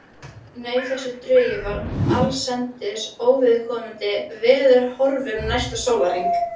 Nei, þessi drungi var allsendis óviðkomandi veðurhorfum næsta sólarhring.